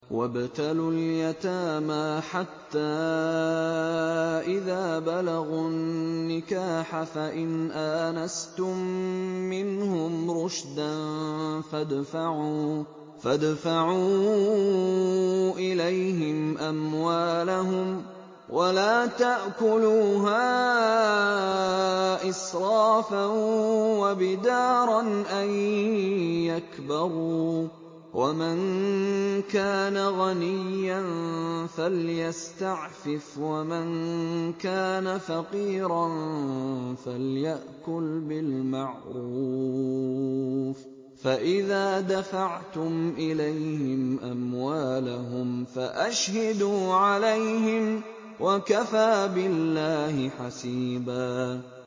وَابْتَلُوا الْيَتَامَىٰ حَتَّىٰ إِذَا بَلَغُوا النِّكَاحَ فَإِنْ آنَسْتُم مِّنْهُمْ رُشْدًا فَادْفَعُوا إِلَيْهِمْ أَمْوَالَهُمْ ۖ وَلَا تَأْكُلُوهَا إِسْرَافًا وَبِدَارًا أَن يَكْبَرُوا ۚ وَمَن كَانَ غَنِيًّا فَلْيَسْتَعْفِفْ ۖ وَمَن كَانَ فَقِيرًا فَلْيَأْكُلْ بِالْمَعْرُوفِ ۚ فَإِذَا دَفَعْتُمْ إِلَيْهِمْ أَمْوَالَهُمْ فَأَشْهِدُوا عَلَيْهِمْ ۚ وَكَفَىٰ بِاللَّهِ حَسِيبًا